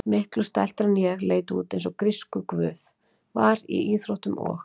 Miklu stæltari en ég, leit út eins og grískur guð, var í íþróttum og.